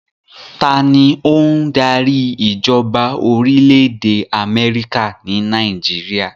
Ta ni ó ń darí ìjọba orílẹ̀ èdè Amẹ́ríkà ní Nàìjíríà?